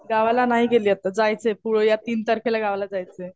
गावाला नाही गेले आता. जायचंय पुढं या तीन तारखेला गावाला जायचंय.